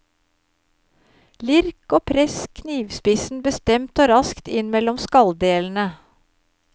Lirk og press knivspissen bestemt og raskt inn mellom skalldelene.